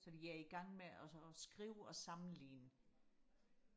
så de er i gang med og så og skrive og sammenligne